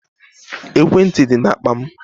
Ekwentị dị na akpa m.